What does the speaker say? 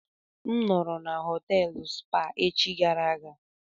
A nọọrọ na họtelụ Spa echi gara aga.